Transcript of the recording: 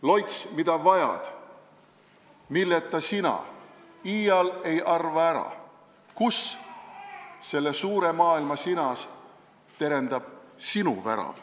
Loits, mida vajad, milleta sina iial ei arva ära, kus selle suure maailma sinas terendab sinu värav.